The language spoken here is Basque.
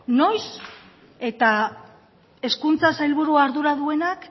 noiz eta hezkuntza sailburua ardura duenak